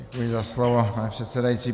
Děkuji za slovo, pane předsedající.